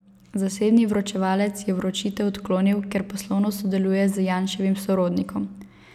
Zasebni vročevalec je vročitev odklonil, ker poslovno sodeluje z Janševim sorodnikom.